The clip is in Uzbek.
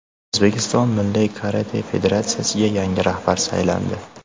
O‘zbekiston milliy karate federatsiyasiga yangi rahbar saylandi.